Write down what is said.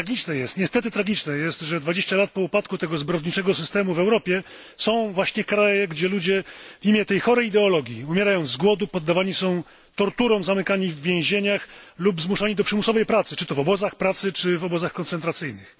Tragiczne jest, niestety, że 20 lat po upadku tego zbrodniczego systemu w Europie są właśnie kraje, gdzie ludzie w imię tej chorej ideologii umierają z głodu, poddawani są torturom, zamykani w więzieniach lub zmuszani do przymusowej pracy czy to w obozach pracy, czy w obozach koncentracyjnych.